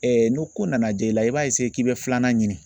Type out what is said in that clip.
n'o ko nana diya i la i b'a k'i bɛ filanan ɲini.